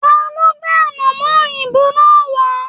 Talo gbé anamọ òyìnbó náà wa?